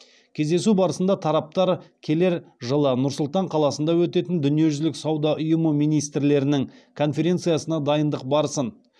кездесу барысында тараптар келер жылы нұр сұлтан қаласында өтетін дүниежүзілік сауда ұйымы министрлерінің конференциясына дайындық барысын